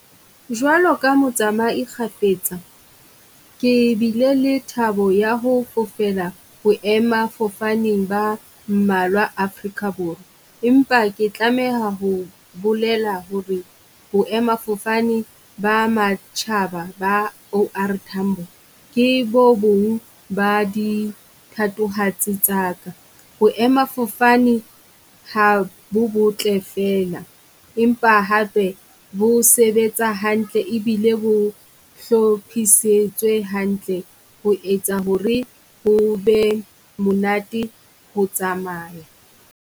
Jwalo ka motsamai kgafetsa, ke bile le thabo ya ho fofela boemafofaneng ba mmalwa Afrika Borwa, empa ke tlameha ho bolela ho re boemafofane ba matjhaba ba OR Tambo. Ke bo bong ba di thatohatsi tsaka boemafofane ha bo botle fela empa hape bo sebetsa hantle e bile bo hlophisetswe hantle ho etsa ho re ho be monate ho tsamaya.